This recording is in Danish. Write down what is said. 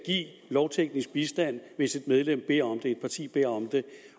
lovteknisk bistand hvis et medlem beder om det hvis et parti beder om det